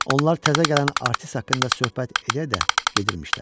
Onlar təzə gələn artist haqqında söhbət edə-edə gedirmişlər.